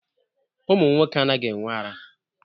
Ụmụ nwoke anaghị-enwe ara.